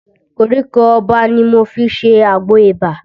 Koríko Ọba ni mo fi ṣe àgbò ibà